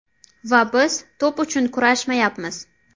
Va biz to‘p uchun kurashmayapmiz.